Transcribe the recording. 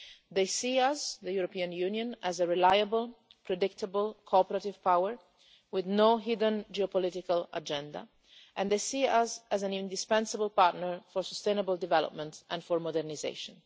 They see us, the European Union, as a reliable, predictable, cooperative power with no hidden geopolitical agenda. And they see us as an indispensable partner for sustainable development and for modernisation.